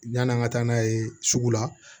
Yann'an ka taa n'a ye sugu la